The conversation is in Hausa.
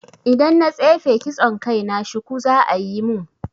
Idan na tsefe kitson kai na, shuku za'a yi mun